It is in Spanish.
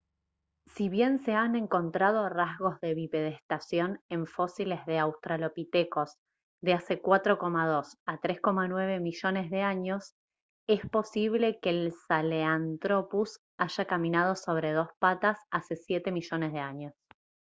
si bien se han encontrado rastros de bipedestación en fósiles de australopitecos de hace 4,2 a 3,9 millones de años es posible que el sahelanthropus haya caminado sobre dos patas hace 7 millones de años